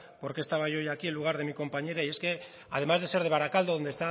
por qué estaba yo hoy aquí en lugar de mi compañera y es que además de ser se barakaldo donde